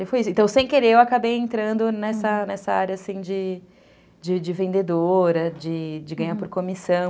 Então, sem querer, eu acabei entrando nessa nessa área assim, de vendedora, de ganhar por comissão.